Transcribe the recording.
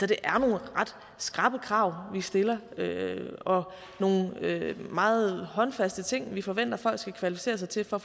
det er nogle ret skrappe krav vi stiller og nogle meget håndfaste ting vi forventer at folk skal kvalificere sig til for